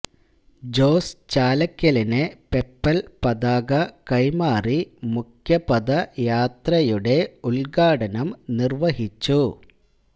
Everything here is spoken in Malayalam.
ജോസ് ചാലക്കലിന് പെപ്പൽ പതാക കൈമാറി മുഖ്യപദയാത്രയുടെ ഉൽഘാടനം നിർവ്വഹിച്ചു